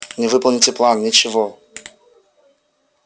не выполните план ничего